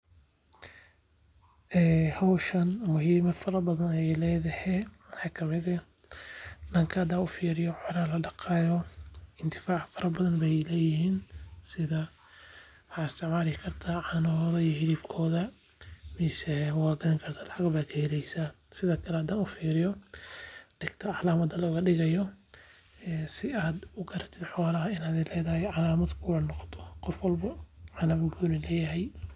Howshan muhima fara badhaan aay leedhahe waxa kamiid eeh daanka hadan ufiiriyo xoola ladaqayo intifaac fara badhan bay leeyiin sidha waxa istacmali karta caana hodha iyo helab kodha mise wagadhani karta lacagba kaheleysa sidha kale hadan ufiriyo degta calamada logadigayo si aad ugaratit holaha inaad adhi leedhay calamad kuga noqoto qoof walbo calamad gooni bu leyay.